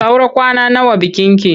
Saura kwana nawa bikinki?